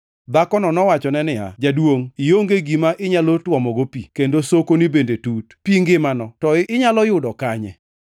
Dhakono nowachone niya, “Jaduongʼ, ionge gi gima inyalo tuomogo pi, kendo sokoni bende tut. Pi ngimano to inyalo yud kanye?